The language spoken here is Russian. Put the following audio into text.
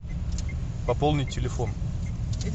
пополнить телефон